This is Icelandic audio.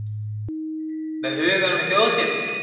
Með hugann við Þjóðhátíð?